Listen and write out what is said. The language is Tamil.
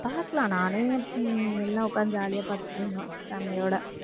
பாக்கலாம் நானு ஹம் எல்லாம் உக்காந்து jolly யா பாத்துட்டு இருந்தோம் family யோட